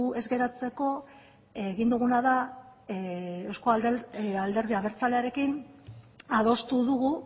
ez geratzeko egin duguna da euzko alderdi abertzalearekin adostu dugu